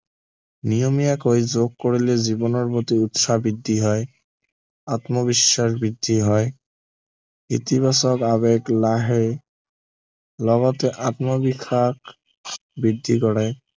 নিয়মীয়াকৈ যোগ কৰিলে জীৱনৰ প্ৰতি উৎসাহ বৃদ্ধি হয় আত্মবিশ্বাস বৃদ্ধি হয় ইতিবাচক আদত নাহে লগতে আত্মবিশ্বাস বৃদ্ধি কৰে